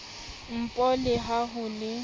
npo le ha ho le